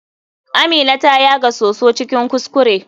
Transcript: Amina ta yaga soso cikin kuskure.